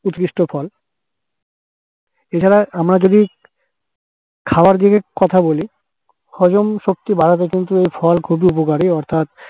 উৎকৃষ্ট ফল । এছাড়া আমরা যদি খাওয়ার দিকের কথা বলি হজমশক্তি বাড়াতে এই ফল কিন্তু খুবই উপকারী